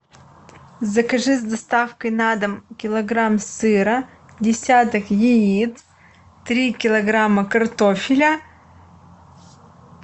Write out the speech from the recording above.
закажи с доставкой на дом килограмм сыра десяток яиц три килограмма картофеля